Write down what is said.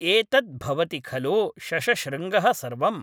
एतत् भवति खलु शषशृङ्गः सर्वम्?